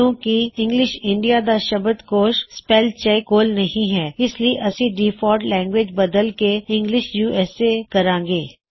ਕਿਉਂਕਿ English India ਦਾ ਸ਼ਬਦ ਕੋਸ਼ ਸਪੈੱਲ ਚੈੱਕ ਕੋਲ ਨਹੀ ਹੈ ਇਸ ਲਈ ਅਸੀ ਡਿਫਾਲਟ ਲੈਂਗਵਿਜ ਬਦਲ ਕੇ ਇੰਗਲਿਸ਼ ਯੂਐਸਏ ਕਰਾਂ ਗੇ